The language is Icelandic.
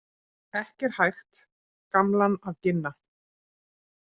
Ekki er hægt gamlan að ginna.